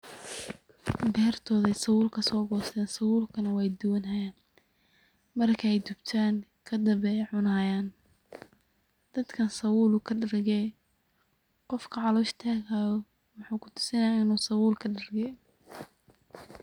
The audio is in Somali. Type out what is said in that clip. Bertoda ayay sabuul kasogoysten, sabulkana way duwani xayan, markay dubtan kadambe ayay cunayan, dadkan sabuul wukadargee, hofka calosh tagi xayo, wuxu kusixayaa inu sabuul kadargee.